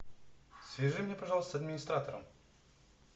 свяжи меня пожалуйста с администратором